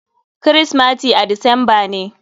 Kirismati a disamba ne.